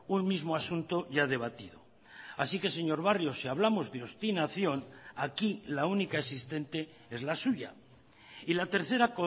un mismo asunto ya debatido así que señor barrio si hablamos de obstinación aquí la única existente es la suya y la tercera